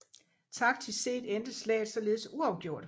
Taktisk set endte slaget således uafgjort